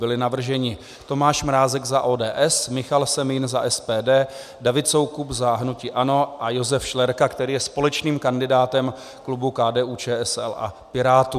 Byli navrženi: Tomáš Mrázek za ODS, Michal Semín za SPD, David Soukup za hnutí ANO a Josef Šlerka, který je společným kandidátem klubu KDU-ČSL a Pirátů.